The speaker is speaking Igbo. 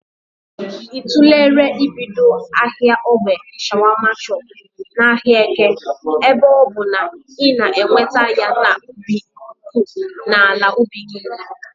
Ị tụlere ibido ahịa ogbè shọawashọp n'ahịa Eke ebe ọbụ na ị na-eweta ya n'ubi nke ukwuu n'ala ubi gị?